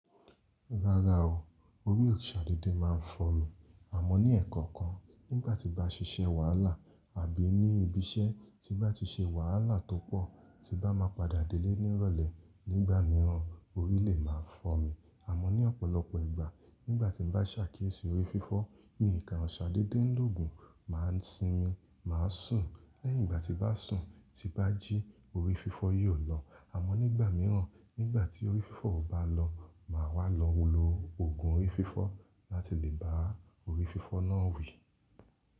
Rárá o, orí o ṣà dédé maa ń fọ́ mi, àmọ́ ní ẹ̀ẹ̀kan kan nígbà tí n bá ṣiṣẹ́ wàhálà àbí ní ibi iṣẹ́ tí bá ti ṣe wàhálà tó pọ̀ tí bá máa padà délé ní ìrọ̀lẹ́ nígbà mìíràn, orí lè máa fọ́ mi, àmọ́ ní ọ̀pọ̀lọpọ̀ ìgbà, nígbà tí n bá ṣàkíyèsí orí fífọ́, mi kà n sadede ń l'òògùn máa ń sinmi, máa sùn lẹ́yìn ìgbà tí bá sùn tí bá jí orí fífọ́ yìí ò lọ, àmọ́ nígbà mìíràn nígbà tí orí fífọ́ ò bá lọ màá wá lọ wọ̀lọ òògùn orí fífọ́ láti lè bá orí fífọ́ náà wí.